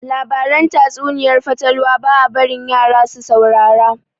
Labaran tatsuniayar fatalwa ba a barin yara su saurara